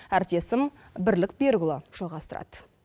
әріптесім бірлік берікұлы жалғастырады